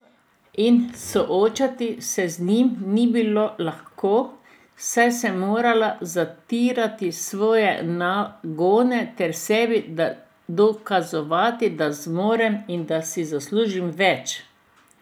In soočati se z njimi ni bilo lahko, saj sem morala zatirati svoje nagone ter sebi dokazovati, da zmorem in da si zaslužim več.